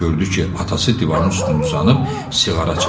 Gördü ki, atası divarın üstündə uzanıb siqara çəkir.